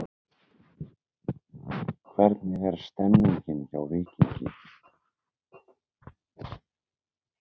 Hvernig er stemningin hjá Víkingi?